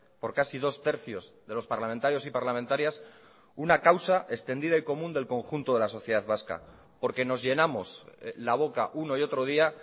por casi dos tercios de los parlamentarios y parlamentarias una causa extendida y común del conjunto de la sociedad vasca porque nos llenamos la boca uno y otro día